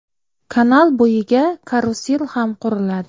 Kanal bo‘yiga karusel ham quriladi.